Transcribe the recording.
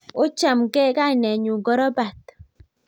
Ochamgei...kainet nyuu ko robat